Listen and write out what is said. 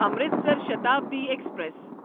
Amritsar Shatabdi express